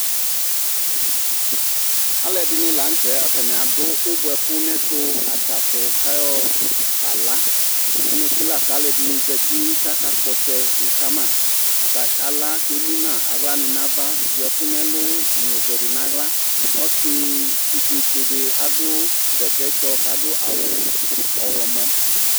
Alʋɛdɩnɩ la nʋtɛ : atanɩ adʋ ʋbʋɛkʋ n'ɛtʋ atsasʋ , k'ayɔ ka la; amɛke la k'alʋɛdɩnɩ zati k'aka kpɔtsɛ e ka ma Ata kala k'emu n'a aɣlanɩ n'ava , dʋ ɛkʋ n'ɛlʋ n'ɔzɛdɩ n'aɣla Ɔsɩ ɛtʋfuetsɩdɩ adʋ bɛtɛtsɔ k'adʋ awʋ ɔɣlɔmɔ